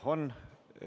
Jah, on.